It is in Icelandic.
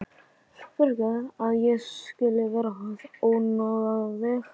Fyrirgefðu að ég skuli vera að ónáða þig.